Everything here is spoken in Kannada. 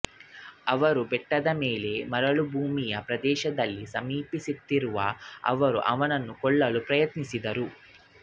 ಅವರು ಬೆಟ್ಟದ ಮೇಲೆ ಮರಳುಭೂಮಿಯ ಪ್ರದೇಶದಲ್ಲಿ ಸಮೀಪಿಸುತ್ತಿರುವ ಅವರು ಅವನನ್ನು ಕೊಲ್ಲಲು ಪ್ರಯತ್ನಿಸಿದರು